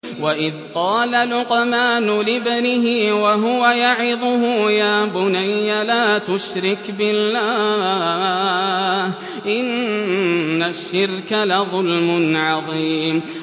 وَإِذْ قَالَ لُقْمَانُ لِابْنِهِ وَهُوَ يَعِظُهُ يَا بُنَيَّ لَا تُشْرِكْ بِاللَّهِ ۖ إِنَّ الشِّرْكَ لَظُلْمٌ عَظِيمٌ